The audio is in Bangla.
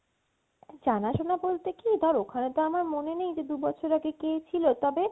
জানা শুনা বলতে কি ধর ওখানে তো আমার মনে নেই দু বছর আগে কি ছিল তবে